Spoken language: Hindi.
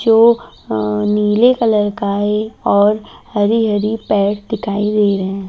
जो अ नीले कलर का है और हरी-हरी पेड़ दिखाई दे रहे हैं ।